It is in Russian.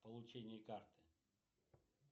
получение карты